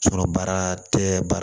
baara tɛ ba